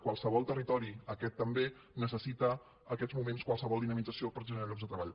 qualsevol territori aquest també necessita en aquests moments qualsevol dinamització per generar llocs de treball